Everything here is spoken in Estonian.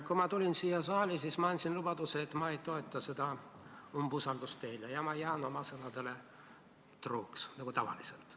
Kui ma tulin siia saali, siis ma andsin lubaduse, et ma ei toeta teie umbusaldamist, ja ma jään oma sõnadele truuks nagu tavaliselt.